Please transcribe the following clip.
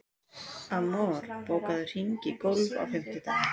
Amor, bókaðu hring í golf á fimmtudaginn.